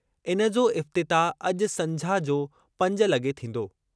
इन जो इफ़्तिताह अॼु संझा जो पंज लगे॒ थींदो।